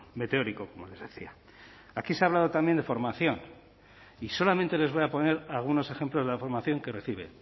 meteórico como les decía aquí se ha hablado también de formación y solamente les voy a poner algunos ejemplos de la formación que recibe